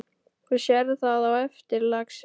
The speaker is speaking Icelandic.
Þú sérð það á eftir, lagsi.